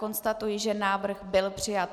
Konstatuji, že návrh byl přijat.